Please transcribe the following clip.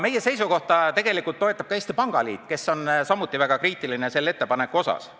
Meie seisukohta toetab ka Eesti Pangaliit, kes on samuti selle ettepaneku suhtes väga kriitiline.